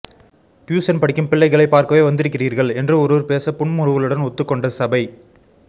tuition படிக்கும் பிள்ளைகளை பார்க்கவே வந்திருக்கிறீர்கள் என்று ஒருவர் பேச புன்முறுவலுடன் ஒத்துக்கொண்ட சபை